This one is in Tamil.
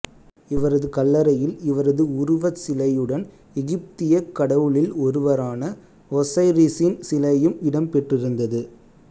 இவரது கல்லறையில் இவரது உருவச் சிலையுடன் எகிப்திய கடவுளில் ஒருவரான ஒசைரிசின் சிலையும் இடம் பெற்றிருந்தது